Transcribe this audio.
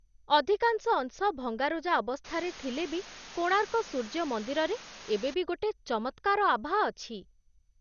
ଅଧିକାଂଶ ଅଂଶ ଭଙ୍ଗାରୁଜା ଅବସ୍ଥାରେ ଥିଲେ ବି କୋଣାର୍କ ସୂର୍ଯ୍ୟ ମନ୍ଦିରରେ ଏବେ ବି ଗୋଟେ ଚମତ୍କାର ଆଭା ଅଛି ।